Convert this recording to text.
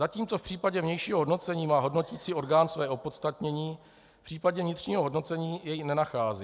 Zatímco v případě vnějšího hodnocení má hodnoticí orgán své opodstatnění, v případě vnitřního hodnocení jej nenacházím.